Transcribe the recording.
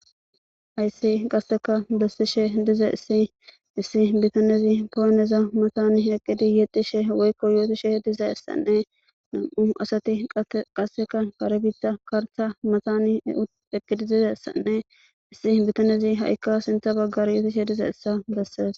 Hayssi qasseka bessishe dizayssi issi bithanezi pooneza mathani eqqidi yexxishe woykko yoothishe dizayssanne nam7u asathi qasseka kare biiththa karththa mathani eqqidi dizayssanne issi bithanezi ha7ikka sinththa baggara yoothishe dizayssa bessees.